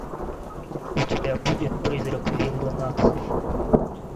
у тебя будет призрак виллы натхов